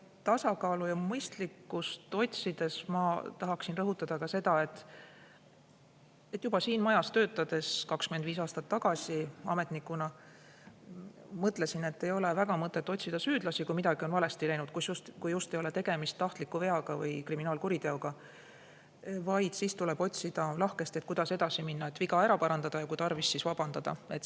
Tasakaalu ja mõistlikkust otsides ma tahaksin rõhutada ka seda, et juba siis, kui ma siin majas 25 aastat tagasi ametnikuna töötasin, mõtlesin ma, et ei ole väga mõtet otsida süüdlasi, kui midagi on valesti läinud, kui just ei ole tegemist tahtliku veaga või kriminaalkuriteoga, vaid tuleb otsida lahkesti, kuidas edasi minna, et viga ära parandada, ja kui tarvis, siis vabandada.